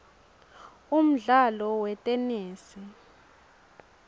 umdlalo wetenesi